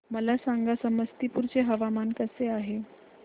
मला सांगा समस्तीपुर चे हवामान कसे आहे